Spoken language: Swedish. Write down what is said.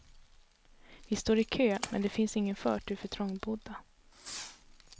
Vi står i kö, men det finns ingen förtur för trångbodda.